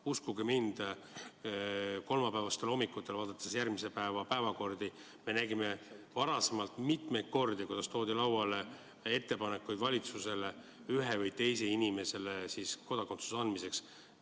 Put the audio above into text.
Uskuge mind, kolmapäeva hommikutel järgmise päeva päevakorda vaadates oleme näinud mitmeid kordi, kuidas valitsuses on lauale toodud ettepanekuid ühele või teise inimesele kodakondsuse andmiseks.